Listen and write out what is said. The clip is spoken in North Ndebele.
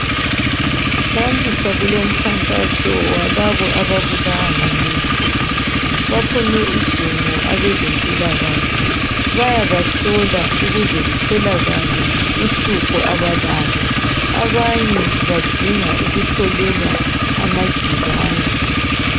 Namuhla kulomkhankaso walabo ababulwa ngamehlo baphume ijumo abezempilakahle bayabahlola ukuze kutholakale uhlupho abalalo abanyevbadinga ukutholelwa amagilazi.